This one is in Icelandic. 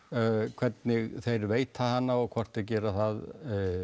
hvernig þeir veita hana og hvort þeir gera það